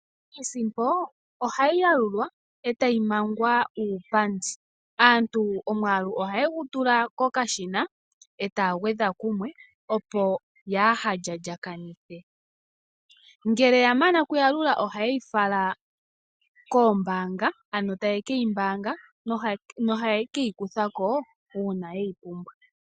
Iisimpo ohayi yalulwa e tayi mangwa uupandi. Aantu omwaalu ohaye gu tula kokashinae taya gwedha kumwe, opo yaa ha lyalyakanithe. Ngele ya mana okuyalula ohaye yi fala koombaanga ano taye ke yi mbaanga nohaye ke yi kutha ko uuna ye yi pumbwa.